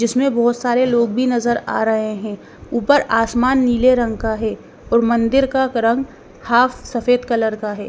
जिसमें बहोत सारे लोग भी नजर आ रहे हैं ऊपर आसमान नीले रंग का है और मंदिर का रंग हाफ सफेद कलर का है।